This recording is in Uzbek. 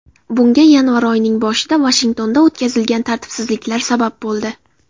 Bunga yanvar oyining boshida Vashingtonda o‘tkazilgan tartibsizliklar sabab bo‘ldi.